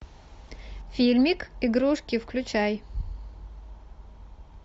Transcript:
фильмик игрушки включай